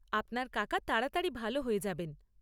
আপনার কাকা তাড়াতাড়ি ভাল হয়ে যাবেন।